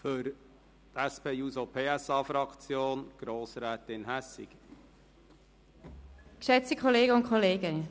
Für die SP-JUSO-PSA-Fraktion hat Grossrätin Hässig das Wort.